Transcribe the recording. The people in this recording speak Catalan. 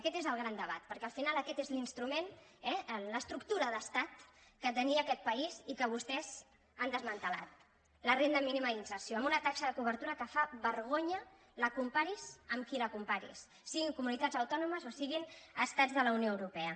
aquest és el gran debat perquè al final aquest és l’instrument eh l’estructura de l’estat que tenia aquest país i que vostès han desmantellat la renda mínima d’inserció amb una taxa de cobertura que fa vergonya la comparis amb qui la comparis siguin comunitats autònomes o siguin estats de la unió europea